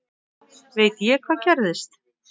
Veit ég hvað gerðist?